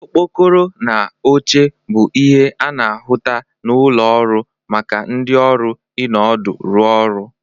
Okpokoro na oche bụ ihe a na-ahụta n'ụlọ ọrụ maka ndị ọrụ ịnọdụ rụ ọrụ